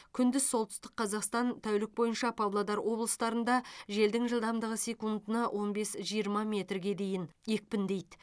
күндіз солтүстік қазақстан тәулік бойынша павлодар облыстарында желдің жылдамдығы секундына он бес жиырма метрге дейін екпіндейді